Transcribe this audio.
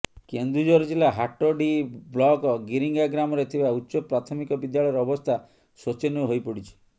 କେନ୍ଦୁଝର ଜିଲ୍ଲା ହାଟଡ଼ିହି ବ୍ଲକ ଗିରିଙ୍ଗା ଗ୍ରାମରେ ଥିବା ଉଚ୍ଚପ୍ରାଥମିକ ବିଦ୍ୟାଳୟର ଅବସ୍ଥା ଶୋଚନୀୟ ହୋଇପଡ଼ିଛି